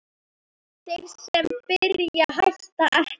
Þeir sem byrja hætta ekki!